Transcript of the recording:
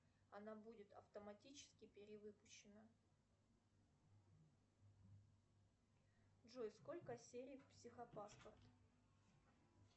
она будет автоматически перевыпущена джой сколько серий в психопатках